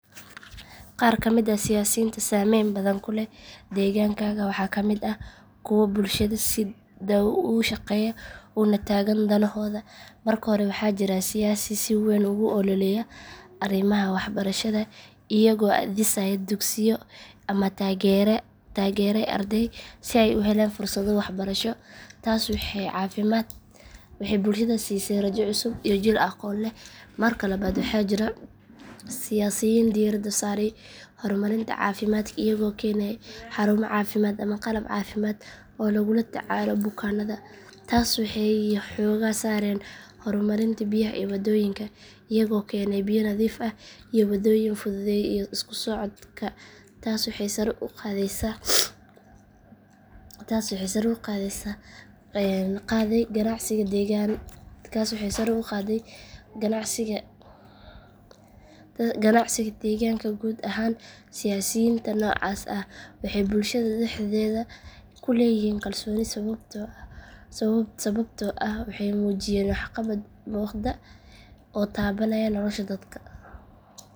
Qaar ka mid ah siyaasiyiinta saamaynta badan ku leh deegaankaaga waxaa ka mid ah kuwo bulshada si dhow ula shaqeeya una taagan danahooda marka hore waxaa jira siyaasiyaal si weyn ugu ololeeya arrimaha waxbarashada iyagoo dhisay dugsiyo ama taageeray arday si ay u helaan fursado waxbarasho taas waxay bulshada siisay rajo cusub iyo jiil aqoon leh marka labaad waxaa jira siyaasiyiin diiradda saaray horumarinta caafimaadka iyagoo keenay xarumo caafimaad ama qalab caafimaad oo lagula tacaalo bukaanada taas waxay yareysay safarada dheer ee dadka u aadi jireen meelaha fogfog marka saddexaad siyaasiyiin kale waxay xoogga saareen horumarinta biyaha iyo waddooyinka iyagoo keenay biyo nadiif ah iyo waddooyin fududeeyay isku socodka taas waxay sare u qaaday ganacsiga deegaanka guud ahaan siyaasiyiinta noocaas ah waxay bulshada dhexdeeda ku leeyihiin kalsooni sababtoo ah waxay muujiyeen waxqabad muuqda oo taabanaya nolosha dadka.